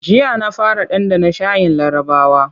Jiya na fara ɗanɗana shayin larabawa.